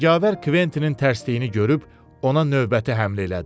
Cəngavər Kventinin tərsliyini görüb ona növbəti həmlə elədi.